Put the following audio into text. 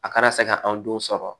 A kana se ka anw denw sɔrɔ